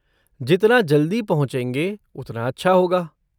जितना जल्दी पहुँचेंगे, उतना अच्छा होगा।